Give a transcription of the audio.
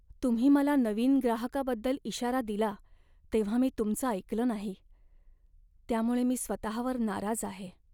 तुम्ही मला नवीन ग्राहकाबद्दल इशारा दिला तेव्हा मी तुमचं ऐकलं नाही, त्यामुळे मी स्वतःवर नाराज आहे.